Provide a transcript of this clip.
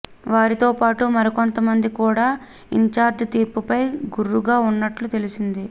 వీరితో పాటు మరికొంతమంది కూడా ఇన్చార్జ్ తీరుపై గుర్రుగా ఉన్నట్లు తెలిసింది